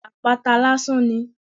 Apata lásán ni.